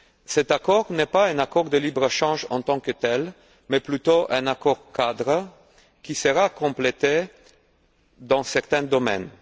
Cet accord n'est pas un accord de libre échange en tant que tel, mais plutôt un accord cadre qui sera complété dans certains domaines.